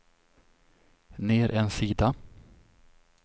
ner en sida